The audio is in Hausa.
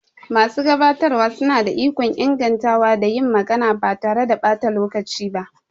Masu gabatarwa suna da ikon ingantawa da yin magana ba tare da ɓata lokaci ba.